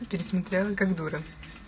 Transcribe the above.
пересмотрела как дура